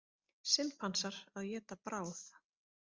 Simpansar að éta bráð.